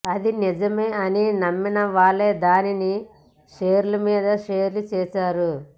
అది నిజమే అని నమ్మినవాళ్లు దానిని షేర్ల మీద షేర్లు చేశారు